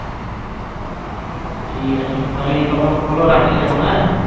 ঠিকাছে তাহলে এই কথাই হলো রাখছি এখন হ্যাঁ